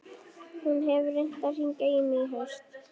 Hún hefur reynt að hringja í mig í haust.